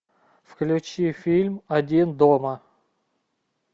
включи фильм один дома